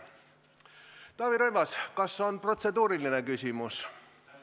Taavi Rõivas, kas protseduuriline küsimus?